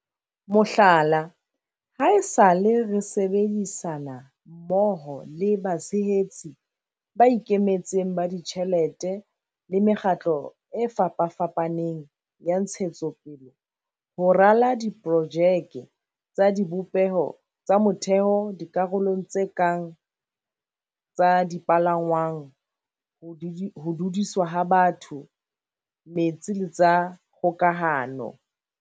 Mohlala, haesale re sebedi-sana mmoho le batshehetsi ba ikemetseng ba ditjhelete le mekgatlo e fapafapaneng ya ntshetsopele ho rala di-projeke tsa dibopeho tsa motheo dikarolong tse kang tsa dipalangwang, ho dudiswa ha batho, metsi le tsa kgoka-hano.